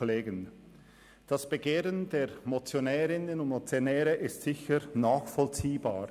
Das Begehren der Motionärinnen und Motionäre ist sicher nachvollziehbar.